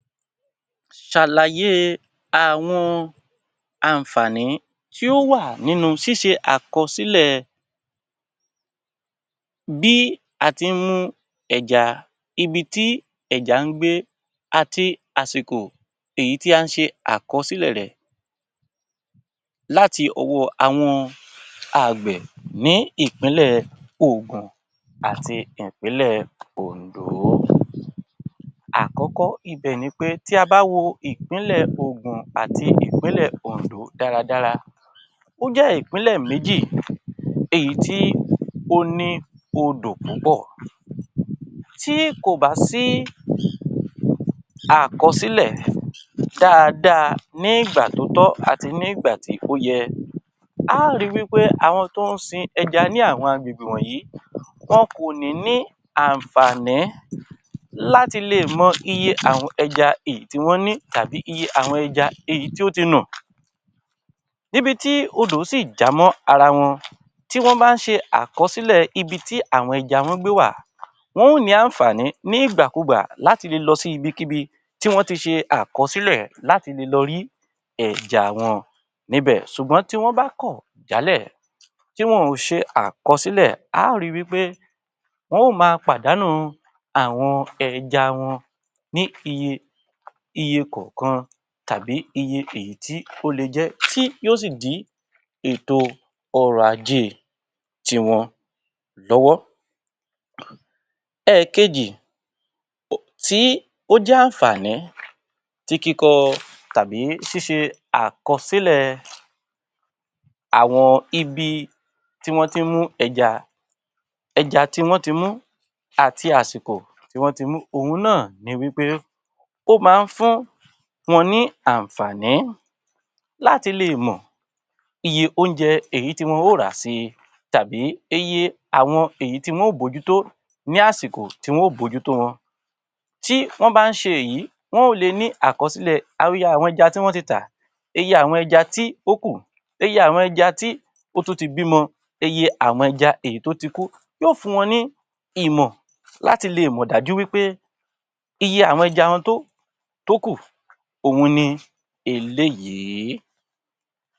Ṣàlàyé àwọn àǹfààní tí ó wà nínú ṣíṣe àkọsílẹ̀ bí a tí ń mú ẹja, ibi tí ẹja ń gbé àti àsìkò èyí tí à ń ṣe àkọsílẹ̀ rẹ̀ láti ọwọ́ àwọn àgbẹ̀ ní Ìpínlẹ̀ Ògùn àti Ìpínlẹ̀ Oǹdó. Àkọ́kọ́ ibẹ̀ ni pé tí a bá wò Ìpínlẹ̀ Ògùn àti Ìpínlẹ̀ Oǹdó dáradára, ó jẹ́ Ìpínlẹ̀ méjì èyí tí ó ní odò púpọ̀. Tí kò bá sí àkọsílẹ̀ dáadáa ní ìgbà tó tọ́ àti ní ìgbà tí ó yẹ, a á ri wí pé àwọn tó ń sin ẹja ni àwọn agbègbè wọn kò ní ní àǹfààní láti lè mọ́ iye àwọn ẹja èyí tí wọ́n ní tàbí iye àwọn ẹja èyí tí ó ti nù. Níbi tí odò sì já mọ́ ara wọn, tí wọ́n bá ṣe àkọsílẹ̀ ibi tí àwọn ẹja wọn gbé wà, wọn ó ní àǹfààní ní ìgbàkugbà láti lé lọ sí ibikíbi tí wọ́n ti ṣe àkọsílẹ̀ láti lè lọ rí ẹja wọn níbẹ̀. Ṣùgbọ́n tí wọ́n bá kọ̀ jalẹ̀, tí wọn ò ṣe àkọsílẹ̀, a á ri wí pé wọn ó máa pàdánù àwọn ẹja wọn ní iye iye kọ̀ọ̀kan tàbí iye èyí tí ó le jẹ́ tí yóò sì dí ètò ọrọ̀-ajé ti wọn lọ́wọ́. Ẹ̀ẹ̀kejì tí ó jẹ́ àǹfààní tí kíkọ tàbí ṣíṣe àkọsílẹ̀ àwọn ibi tí wọ́n tí ń mú ẹja, ẹja tí wọ́n ti mú àti àsìkò tí wọ́n ti mú. Ọ̀hun náà ni wí pé, ó máa ń fún wọn ní àǹfààní láti lè mọ̀ iye oúnjẹ èyí tí wọ́n ó rà sì tàbí iye àwọn èyí tí wọn ó bójútó ní àsìkò tí wọn ó bójútó wọn. Tí wọ́n bá ń ṣe èyí, wọn ó lè ní àkọsílẹ̀ àwọn iye àwọn ẹja tí wọ́n ti tà, iye àwọn ẹja tí ó kù, iye àwọn ẹja tí ó tú ti bímọ, iye àwọn ẹja eyi tó ti kú. Yóò fún wọn ní ìmọ̀ láti lè mọ̀ dájú wí pé iye àwọn ẹja wọn tó tó kù òhun ni eléyìí.